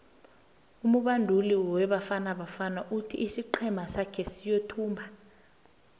umubanduli webafana bafana uthi isiqhema sake siyothumba